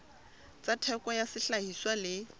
tsa theko ya sehlahiswa le